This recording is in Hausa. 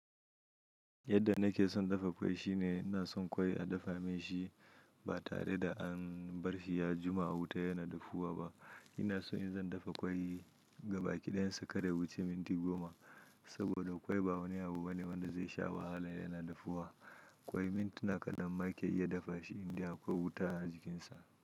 Yadda nake son dafa ƙwai shine ina son ƙwai a dafa min shi ba tare da an bar shi ya jima a wuta yana dafuwa ba. Ina so in zan dafa ƙwai gabaki ɗayansa kar ya wuce minti goma, saboda ƙwai ba wani abu bane wanda zai sha wahala yana dafuwa. Ƙwai mintuna kaɗan ma yake iya dafa shi in dai akwai wuta a jikinsa.